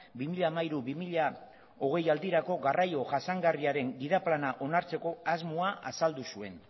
bi mila hamairu bi mila hogei aldirako garraio jasangarriaren gida plana onartzeko asmoa azaldu zuen